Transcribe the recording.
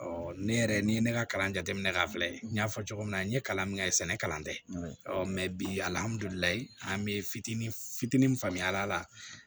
Ɔ ne yɛrɛ ni ye ne ka kalan jateminɛ k'a filɛ n y'a fɔ cogo min na n ye kalan min kɛ sɛnɛ kalan tɛ bi an bi fitinin fitinin faamuya a la